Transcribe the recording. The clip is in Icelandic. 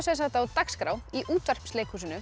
á dagskrá í